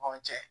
Aw cɛ